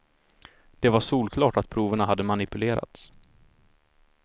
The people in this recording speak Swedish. Det var solklart att proverna hade manipulerats.